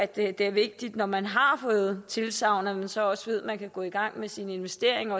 det er vigtigt når man har fået tilsagn at man så også ved at man kan gå i gang med sine investeringer